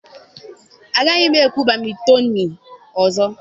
Agaghị m egwu badịmịítonịị ọzọ.